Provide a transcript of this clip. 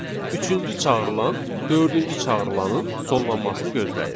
Üçüncü çağırılan dördüncü çağırılaının sonlanmasını gözləyir.